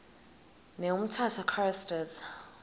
ne umtata choristers